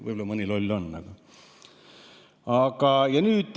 Võib-olla mõni loll küll ei saa.